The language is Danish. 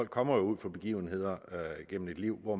kommer ud for begivenheder gennem et liv hvor